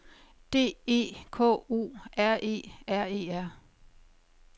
D E K O R E R E R